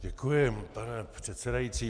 Děkuji, pane předsedající.